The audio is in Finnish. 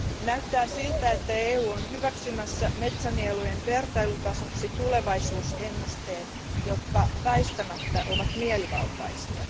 Näyttää siltä, että EU on hyväksymässä metsänielujen vertailutasoksi tulevaisuusennusteet, jotka väistämättä ovat mielivaltaisia.